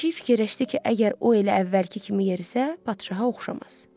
Pişik fikirləşdi ki, əgər o elə əvvəlki kimi yerisə, padşaha oxşamaz.